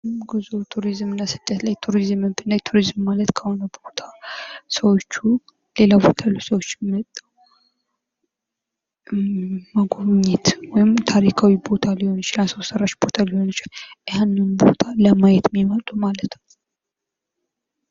ጉዞ ቱሪዝም እና ስደት ላይ ቱሪዝንም ብናይ ቱሪዝም ማለት ከሆነ ቦታ ሰዎቹ ሌላ ቦታ ያሉ ሰዎች መጎብኘት ወይም ታሪካዊ ቦታ ሊሆን ይችላል ሰው ሰራሽ ሊሆን ይችላል ያንን ቦታ ለማየት የሚመጡ ማለት ነው።